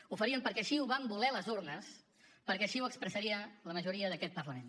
ho faríem perquè així ho van voler les urnes perquè així ho expressaria la majoria d’aquest parlament